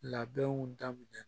Labɛnw daminɛ